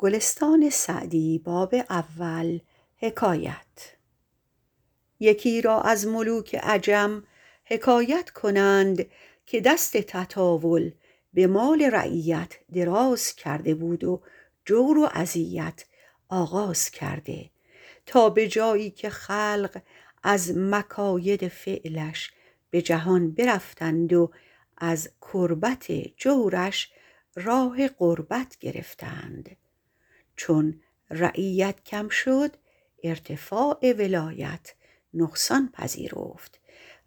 یکی را از ملوک عجم حکایت کنند که دست تطاول به مال رعیت دراز کرده بود و جور و اذیت آغاز کرده تا به جایی که خلق از مکاید فعلش به جهان برفتند و از کربت جورش راه غربت گرفتند چون رعیت کم شد ارتفاع ولایت نقصان پذیرفت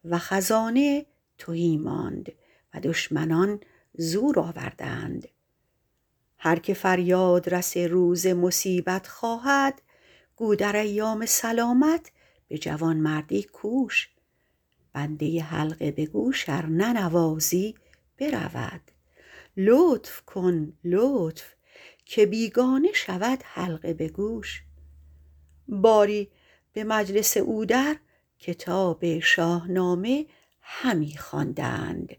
و خزانه تهی ماند و دشمنان زور آوردند هر که فریاد رس روز مصیبت خواهد گو در ایام سلامت به جوانمردی کوش بنده حلقه به گوش ار ننوازی برود لطف کن لطف که بیگانه شود حلقه به گوش باری به مجلس او در کتاب شاهنامه همی خواندند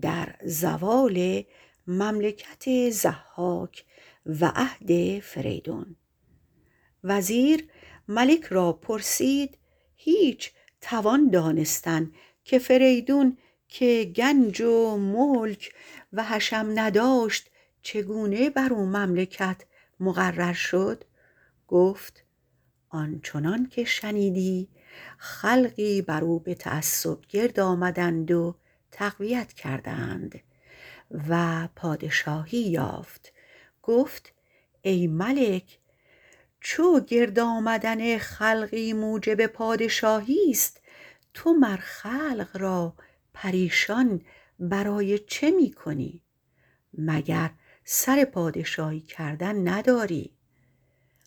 در زوال مملکت ضحاک و عهد فریدون وزیر ملک را پرسید هیچ توان دانستن که فریدون که گنج و ملک و حشم نداشت چگونه بر او مملکت مقرر شد گفت آن چنان که شنیدی خلقی بر او به تعصب گرد آمدند و تقویت کردند و پادشاهی یافت گفت ای ملک چو گرد آمدن خلقی موجب پادشاهیست تو مر خلق را پریشان برای چه می کنی مگر سر پادشاهی کردن نداری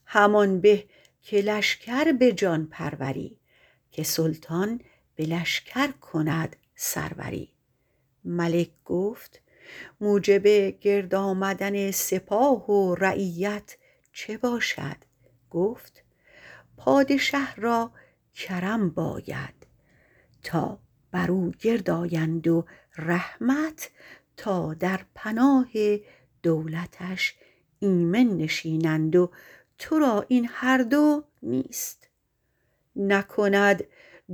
همان به که لشکر به جان پروری که سلطان به لشکر کند سروری ملک گفت موجب گرد آمدن سپاه و رعیت چه باشد گفت پادشه را کرم باید تا بر او گرد آیند و رحمت تا در پناه دولتش ایمن نشینند و ترا این هر دو نیست نکند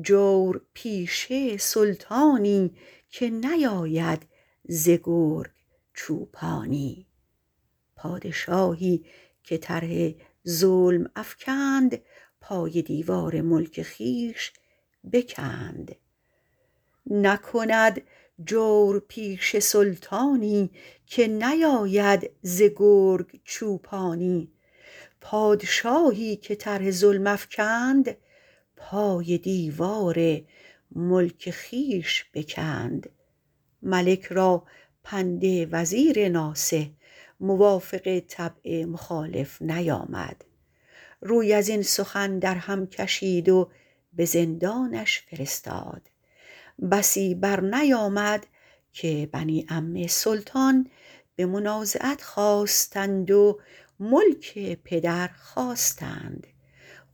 جورپیشه سلطانی که نیاید ز گرگ چوپانی پادشاهی که طرح ظلم افکند پای دیوار ملک خویش بکند ملک را پند وزیر ناصح موافق طبع مخالف نیامد روی از این سخن در هم کشید و به زندانش فرستاد بسی بر نیامد که بنی عم سلطان به منازعت خاستند و ملک پدر خواستند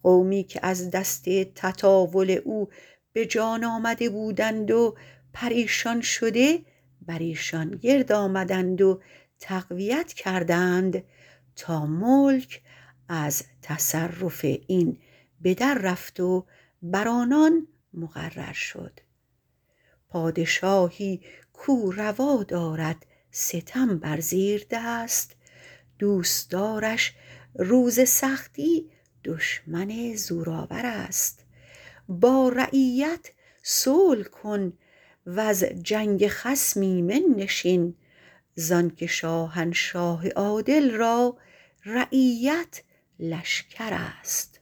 قومی که از دست تطاول او به جان آمده بودند و پریشان شده بر ایشان گرد آمدند و تقویت کردند تا ملک از تصرف این به در رفت و بر آنان مقرر شد پادشاهی کاو روا دارد ستم بر زیردست دوستدارش روز سختی دشمن زورآورست با رعیت صلح کن وز جنگ خصم ایمن نشین زان که شاهنشاه عادل را رعیت لشکرست